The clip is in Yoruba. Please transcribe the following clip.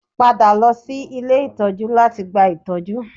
Padà lọ sí ilé ìtọ́jú láti gba ìtọ́jú